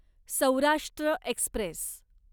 Saurashtra Express